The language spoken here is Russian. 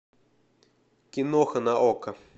киноха на окко